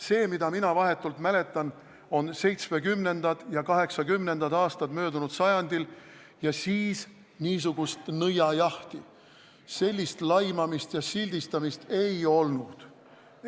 See, mida mina vahetult mäletan, on möödunud sajandi 1970. ja 1980. aastad ning siis niisugust nõiajahti, sellist laimamist ja sildistamist ei olnud.